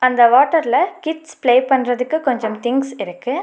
அந்த வாட்டர்ல kids play பண்றதுக்கு கொஞ்சம் திங்ஸ் இருக்கு.